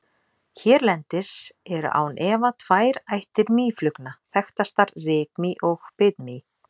Hérlendis eru án efa tvær ættir mýflugna þekktastar, rykmý og bitmý.